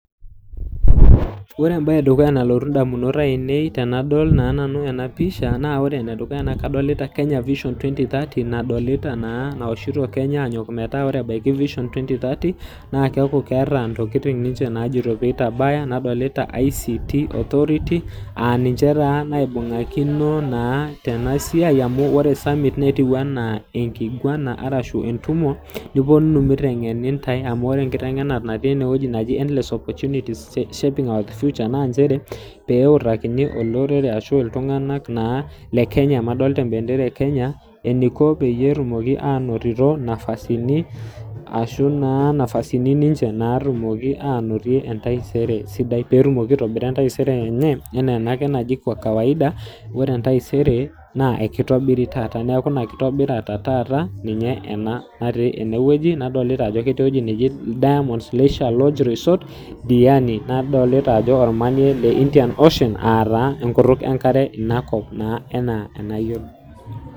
Ore entoki e dukuya nalotu indamunot ainei tenadol naa nanu ena pisha naa ore ene dukuya naa kadlita Kenya Vision Ttwenty-thirty, nadolita naa mission nadolita kenya ajo ore pee ebaya twenty-thirty, naa keata ninche inyokitin naajoito pee eitabaya, nadolita ICT Authority, aa ninche taa naibung'akino tena siai amu ore summit netiu anaa enkiguana ashu entumo nipuonunu meiteng'eni intai. Amu ore enkiteng'enare natii ene wueji naji endless opportunities shaping our future naa nchere, pee eutakini naa iltung'ana arashu olorere le Kenya naa amu adolita empendera e Kenya eneiko peyie etumoki ainotito nafasi, arashu naa nafasini ninche naatumoki ainotie entaisere sidai, pee etumoki aitobira entaisere enye, anaa ena ake naji kwa kawaida ore entaisere naa eikeitobiri taata. Naa ore ina kitobirata e taata, ninye ena natii ene wueji, nadolita ajo ketii ewueji naji Diamond leisure lodge resort Diani, nadolita ajo olmanie le Indian ocean aa taa enkutuk enkare inakop naa anaa enayiolo.